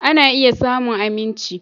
Ana iya samun aminci.